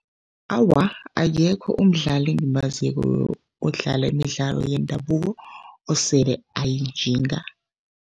Awa, akekho umdlali engimaziko odlala imidlalo yendabuko osele ayinjinga.